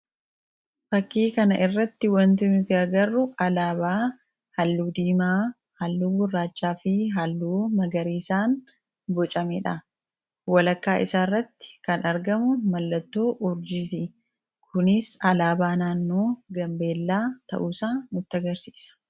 Fakkii kana irratti wantimtiagaru alaabaa halluu diimaa, halluu gurraachaa fi halluu magariiisaan bocameedha. Walakkaa isaa irratti kan argamu mallattoo urjiitii. kunis alaabaa naannoo gambeellaa ta'uusaa nutti agarsiisa.